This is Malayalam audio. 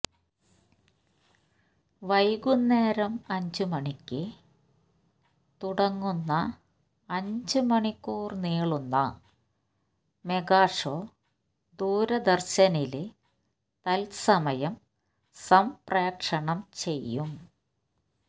വൈകുന്നേരം അഞ്ച് മണിയ്ക്ക് തുടങ്ങുന്ന അഞ്ച് മണിക്കൂര് നീളുന്ന മെഗാഷോ ദൂരദര്ശനില് തത്സമയം സംപ്രേഷണം ചെയ്യും